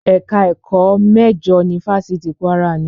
Ẹ̀ka ẹ̀kọ́ méjìlá mẹ́jọ ni fáfitì Kwara ní.